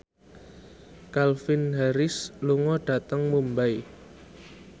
Calvin Harris lunga dhateng Mumbai